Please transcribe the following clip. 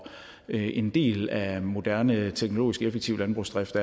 en del af en moderne teknologisk effektiv landbrugsdrift